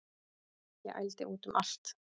Ég ældi út um allt